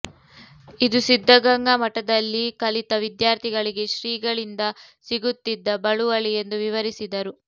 ಇದು ಸಿದ್ಧಗಂಗಾ ಮಠದಲ್ಲಿ ಕಲಿತ ವಿದ್ಯಾರ್ಥಿಗಳಿಗೆ ಶ್ರೀಗಳಿಂದ ಸಿಗುತ್ತಿದ್ದ ಬಳುವಳಿ ಎಂದು ವಿವರಿಸಿದರು